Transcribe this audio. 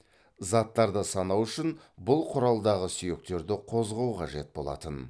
заттарды санау үшін бұл құралдағы сүйектерді қозғау қажет болатын